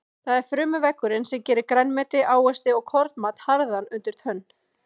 Það er frumuveggurinn sem gerir grænmeti, ávexti og kornmat harðan undir tönn.